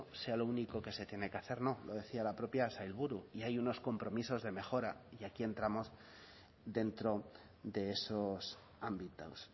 sea lo único que se tiene que hacer no lo decía la propia sailburu y hay unos compromisos de mejora y aquí entramos dentro de esos ámbitos